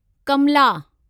Kamla